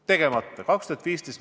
See oli 2015.